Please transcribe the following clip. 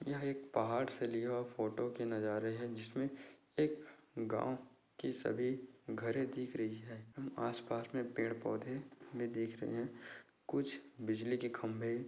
यह एक पहाड़ से लिया हुआ फोटो के नजारे है जिसमें एक गांव की सभी घरें दिख रही है हम आस पास में पेड़-पौधे भी देख रहे है कुछ बिजली के खंभे--